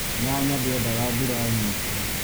Nyanya ndĩ endaga mbura nyingĩ.